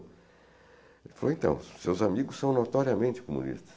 Ele falou, então, seus amigos são notoriamente comunistas.